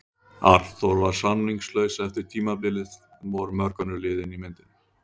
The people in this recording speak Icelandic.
Arnþór var samningslaus eftir tímabilið en voru mörg önnur lið inni í myndinni?